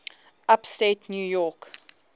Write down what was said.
upstate new york